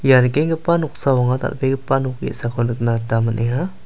ia nikenggipa noksao anga dal·begipa nok ge·sako nikna gita man·enga.